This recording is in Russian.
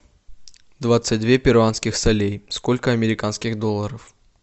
двадцать две перуанских солей сколько американских долларов